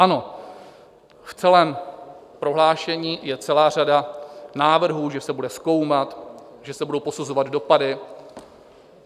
Ano, v celém prohlášení je celá řada návrhů, že se bude zkoumat, že se budou posuzovat dopady.